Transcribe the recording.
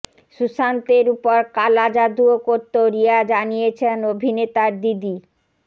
সুশান্তের উপর কালা জাদুও করত রিয়া জানিয়েছেন অভিনেতার দিদি